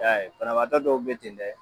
E Y'a ye banabagatɔ dɔw be ten dɛ